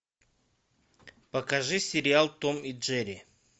покажи сериал том и джерри